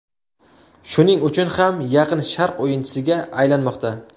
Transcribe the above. Shuning uchun ham Yaqin Sharq o‘yinchisiga aylanmoqda.